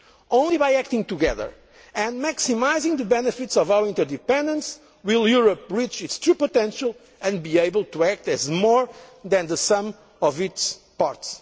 weight. Only by acting together and maximising the benefits of our interdependence will Europe reach its true potential and be able to act as more than the sum of its